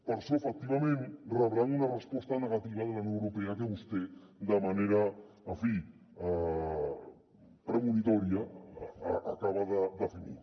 per això efectivament rebran una resposta negativa de la unió europea que vostè de manera en fi premonitòria acaba de definir